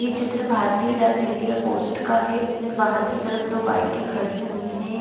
ये चित्र भारतीय डाक इंडिया पोस्ट का है इसमें बाहर की तरफ दो बाइके खड़ी हुई है।